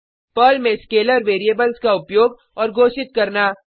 Perl में scalar variables का उपयोग और घोषित करना